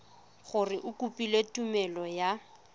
gore o kopile tumelelo ya